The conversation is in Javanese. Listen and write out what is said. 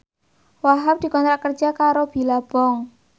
Wahhab dikontrak kerja karo Billabong